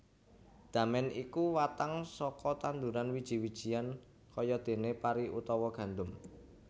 Damèn iku watang saka tanduran wiji wijian kayadéné pari utawa gandum